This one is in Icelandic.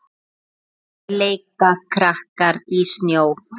Kátir leika krakkar í snjó.